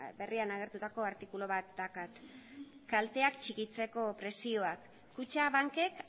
berrian agertutako artikulu bat daukat kalteak txikitzeko prezioak kutxabankek